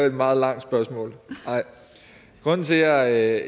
et meget langt spørgsmål nej grunden til at